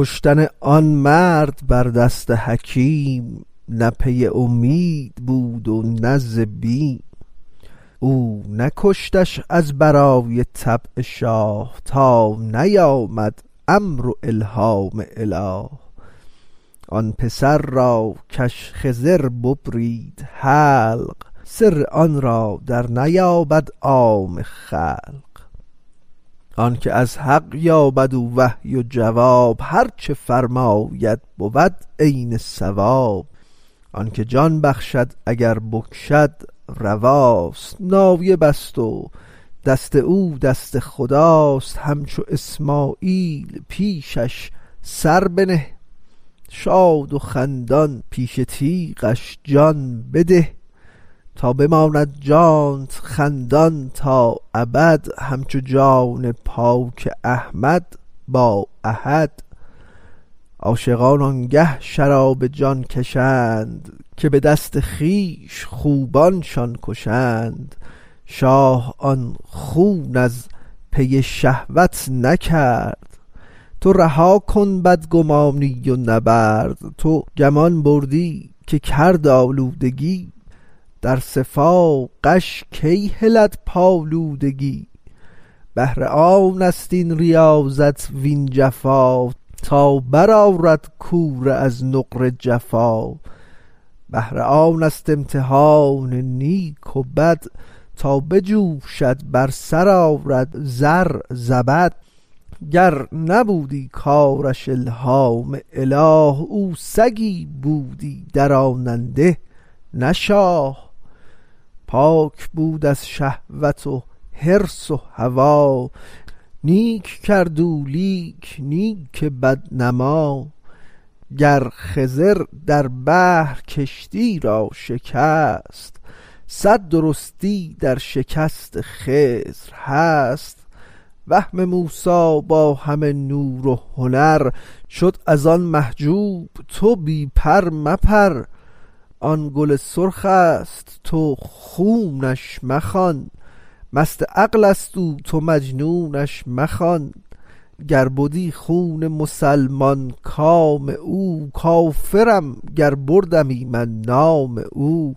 کشتن آن مرد بر دست حکیم نه پی اومید بود و نه ز بیم او نکشتش از برای طبع شاه تا نیامد امر و الهام اله آن پسر را کش خضر ببرید حلق سر آن را در نیابد عام خلق آنک از حق یابد او وحی و جواب هرچه فرماید بود عین صواب آنک جان بخشد اگر بکشد رواست نایبست و دست او دست خداست همچو اسماعیل پیشش سر بنه شاد و خندان پیش تیغش جان بده تا بماند جانت خندان تا ابد همچو جان پاک احمد با احد عاشقان آنگه شراب جان کشند که به دست خویش خوبانشان کشند شاه آن خون از پی شهوت نکرد تو رها کن بدگمانی و نبرد تو گمان بردی که کرد آلودگی در صفا غش کی هلد پالودگی بهر آنست این ریاضت وین جفا تا بر آرد کوره از نقره جفا بهر آنست امتحان نیک و بد تا بجوشد بر سر آرد زر زبد گر نبودی کارش الهام اله او سگی بودی دراننده نه شاه پاک بود از شهوت و حرص و هوا نیک کرد او لیک نیک بد نما گر خضر در بحر کشتی را شکست صد درستی در شکست خضر هست وهم موسی با همه نور و هنر شد از آن محجوب تو بی پر مپر آن گل سرخست تو خونش مخوان مست عقلست او تو مجنونش مخوان گر بدی خون مسلمان کام او کافرم گر بردمی من نام او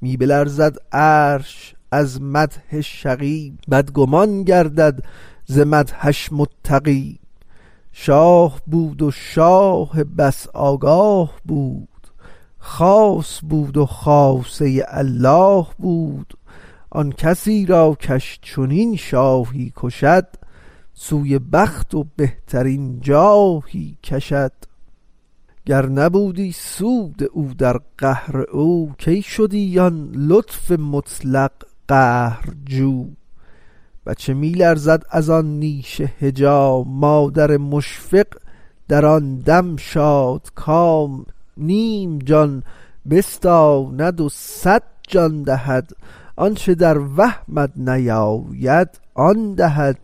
می بلرزد عرش از مدح شقی بدگمان گردد ز مدحش متقی شاه بود و شاه بس آگاه بود خاص بود و خاصه الله بود آن کسی را کش چنین شاهی کشد سوی بخت و بهترین جاهی کشد گر ندیدی سود او در قهر او کی شدی آن لطف مطلق قهرجو بچه می لرزد از آن نیش حجام مادر مشفق در آن دم شادکام نیم جان بستاند و صد جان دهد آنچ در وهمت نیاید آن دهد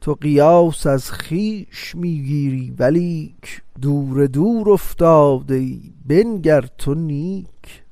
تو قیاس از خویش می گیری ولیک دور دور افتاده ای بنگر تو نیک